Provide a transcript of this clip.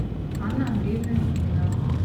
анна андреевна пименова